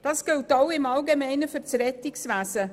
Das gilt ganz allgemein für das Rettungswesen.